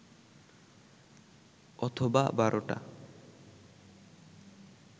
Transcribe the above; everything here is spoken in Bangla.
অথবা বারোটা